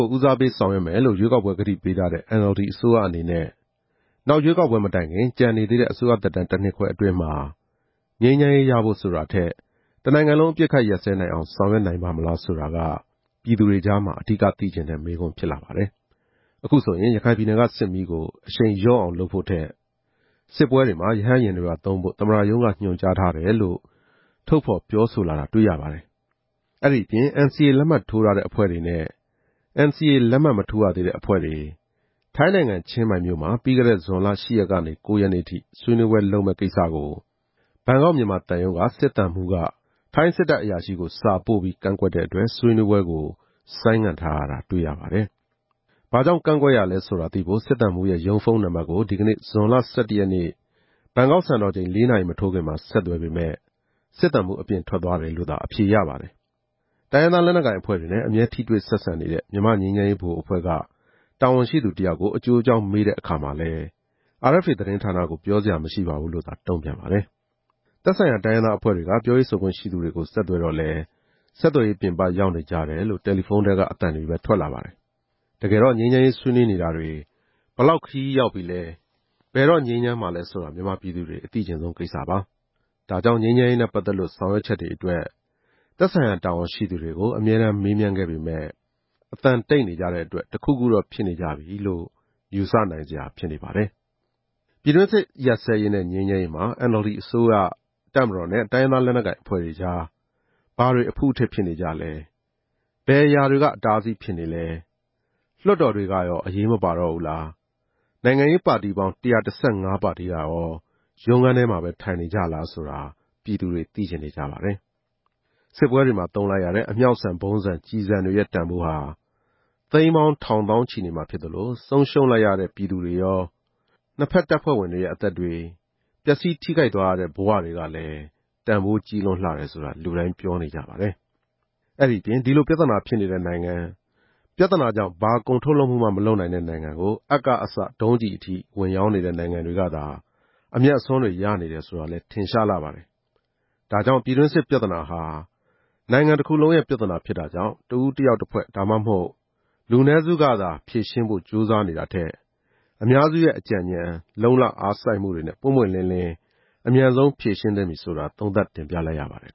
ို ဦးစားပေးဆောင်ရွက်မယ်လို့ ရွေးကောက်ပွဲကတိပေးထားတဲ့ NLD အစိုးရအနေနဲ့ နောက်ရွေးကောက်ပွဲမတိုင်ခင် ကျန်နေသေးတဲ့ အစိုးရသက်တမ်းတနှစ်ခွဲအတွင်းမှာ ငြိမ်းချမ်းရေးရဖို့ ဆိုတာထက် တနိုင်ငံလုံး အပစ်အခတ်ရပ်စဲနိုင်အောင် ဆောင်ရွက်နိုင်ပါ့မလားဆိုတာက ပြည်သူတွေ ကြားမှာ အဓိက သိချင်တဲ့မေးခွန်း ဖြစ်လာပါတယ်။ အခုဆိုရင် ရခိုင်ပြည်နယ်က စစ်မီးကို အရှိန်လျော့အောင်လုပ်ဖို့ထက် စစ်ပွဲတွေမှာ ရဟတ်ယာဉ်တွေပါ သုံးဖို့ သမ္မတရုံးက ညွှန်ကြားထားတယ်လို့ ထုတ်ဖော်ပြောဆိုလာတာ တွေ့ရပါတယ်။ အဲဒီအပြင် NCA လက်မှတ်ထိုးထားတဲ့ အဖွဲ့တွေနဲ့ NCA လက်မှတ်မထိုးရသေးတဲ့ အဖွဲ့တွေ ထိုင်းနိုင်ငံ ချင်းမိုင်မြို့မှာ ပြီးခဲ့တဲ့ ဇွန်လ ၈ ရက်ကနေ ၉ ရက်နေ့ထိ ဆွေးနွေးပွဲလုပ်မယ့်ကိစ္စကို ဘန်ကောက်-မြန်မာသံရုံး က စစ်သံမှူးက ထိုင်းစစ်တပ်အရာရှိကို စာပို့ပြီး ကန့်ကွက်တဲ့အတွက် ဆွေးနွေးပွဲကို ဆိုင်းငံ့ထားရတာ တွေ့ရပါတယ်။ ဘာကြောင့် ကန့်ကွက်ရတာလဲဆိုတာသိဖို့ စစ်သံမှူးရဲ့ရုံးဖုန်းနံပါတ်ကို ဒီနေ့ ဇွန်လ ၁၁ ရက်နေ့ ဘန်ကောက်စံတော်ချိန် ၄ နာရီမထိုးခင်မှာ ဆက်သွယ်ပေမယ့် စစ်သံမှူးအပြင်ထွက်သွားတယ်လို့သာ အဖြေရပါတယ်။ တိုင်းရင်းသားလက်နက်ကိုင်အဖွဲ့တွေနဲ့ အမြဲထိတွေ့ ဆက်ဆံနေတဲ့ မြန်မာ့ငြိမ်းချမ်းရေးဗဟိုအဖွဲ့က တာဝန်ရှိသူတယောက်ကို အကျိုးအကြောင်းမေးတဲ့အခါမှာလည်း RFA သတင်းဌာနကို ပြောစရာမရှိပါဘူးလို့သာ တုံ့ပြန်ပါတယ်။ သက်ဆိုင်ရာတိုင်းရင်းသားအဖွဲ့တွေက ပြောရေးဆိုခွင့်ရှိသူတွေကို ဆက်သွယ်တော့လည်း ဆက်သွယ်ရေးပြင်ပရောက်နေကြတယ်လို့ တယ်လီဖုန်းထဲက အသံတွေပဲ ထွက်လာပါတယ်။ တကယ်တော့ ငြိမ်းချမ်းရေးဆွေးနွေးနေတာတွေ ဘယ်လောက် ခရီးရောက်ပြီလဲ။ ဘယ်တော့ ငြိမ်းချမ်းမှာလဲဆိုတာ မြန်မာပြည်သူတွေ အသိချင်ဆုံးကိစ္စပါ။ ဒါကြောင့် ငြိမ်းချမ်းရေးနဲ့ ပတ်သက်လို့ ဆောင်ရွက်ချက်တွေအတွက် သက်ဆိုင်ရာတာဝန်ရှိသူတွေကို မေးမြန်းခဲ့ပေမယ့် အသံတိတ်နေကြတဲ့အတွက် တခုခုတော့ဖြစ်နေကြပြီလို့ ယူဆနိုင်စရာဖြစ်နေပါတယ်။ ပြည်တွင်းစစ် ရပ်စဲရေးနဲ့ ငြိမ်းချမ်းရေးမှာ NLD အစိုးရ၊ တပ်မတော်နဲ့ တိုင်းရင်းသားလက်နက်ကိုင် အဖွဲ့တွေကြား ဘာတွေအဖုအထစ်ဖြစ်နေကြလဲ။ ဘယ်အရာတွေက အတားအဆီးဖြစ်နေလဲ။ လွှတ်တော်တွေက အရေးမပါတော့ဘူးလား။ နိုင်ငံရေးပါတီပေါင်း ၁၁၅ ပါတီကရော ရုံးခန်းထဲမှာပဲ ထိုင်နေကြလားဆိုတာ ပြည်သူတွေ သိချင်နေကြပါတယ်။ စစ်ပွဲတွေမှာ သုံးလိုက်ရတဲ့ အမြှောက်ဆန်၊ ဗုံးဆန်၊ ကျည်ဆန်တွေရဲ့ တန်ဖိုးဟာ သိန်းပေါင်းထောင် သောင်းချီနေမှာ ဖြစ်နေသလို၊ ဆုံးရှုံးလိုက်ရတဲ့ ပြည်သူတွေရော၊ နှစ်ဖက်တပ်ဖွဲ့ဝင်တွေရဲ့ အသက်တွေ၊ ပျက်စီးထိခိုက်သွားရတဲ့ ဘဝတွေကလည်း တန်းဖိုးကြီးလွန်းလှတယ်ဆိုတာ လူတိုင်းပြောနေကြပါတယ်။ အဲဒီအပြင် ဒီလိုပြဿနာဖြစ်နေတဲ့နိုင်ငံ၊ ပြဿနာကြောင့် ဘာကုန်ထုတ်လုပ်မှုမ ှမလုပ်နိုင်တဲ့နိုင်ငံကို အပ်ကအစ ဒုံးကျည်အဆုံး ဝင်ရောင်းနေတဲ့ နိုင်ငံတွေကသာ အမြတ်အစွန်းတွေရနေတယ်ဆိုတာလည်း ထင်ရှားလှပါတယ်။ ဒါကြောင့် ပြည်တွင်းစစ်ပြဿနာဟာ နိုင်ငံတခုလုံးရဲ့ပြဿနာဖြစ်တာကြောင့်၊ တဦးတယောက်တဖွဲ့ ဒါမှမဟုတ် လူနည်းစုကသာ ဖြေရှင်းဖို့ကြိုးစားနေတာထက်၊ အများစုရဲ့ အကြံဉာဏ်၊ လုံ့လအားစိုက်မှုတွေနဲ့ ပွင့်ပွင့်လင်းလင်း အမြန်ဆုံးဖြေရှင်းသင့်ပြီဆိုတာ သုံးသပ်တင်ပြလိုက်ရပါတယ်